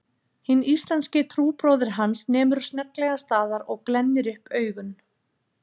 Hinn íslenski trúbróðir hans nemur snögglega staðar og glennir upp augun